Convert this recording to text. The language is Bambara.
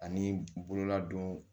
Ani bololadon